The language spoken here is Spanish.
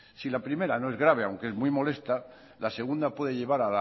si la primera no es grave aunque es muy molesta la segunda puede llevar